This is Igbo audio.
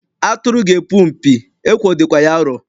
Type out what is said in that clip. Atụrụ ga-epu mpi, ekwo dịkwa ya arọ.